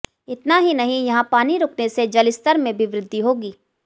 इतना ही नहीं यहां पानी रुकने से जलस्तर में भी वृद्धि होगी